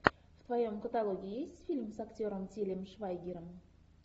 в твоем каталоге есть фильм с актером тилем швайгером